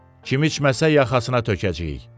Kim içməsə yaxasına tökəcəyik.